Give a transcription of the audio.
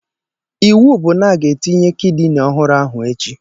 Iwu bụ na a ga-etinye kidini ọhụrụ ahụ echi!